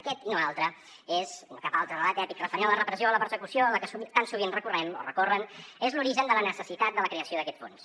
aquest i no altre i no cap altre relat èpic referent a la repressió o la persecució a la que tan sovint recorrem o recorren és l’origen de la necessitat de la creació d’aquest fons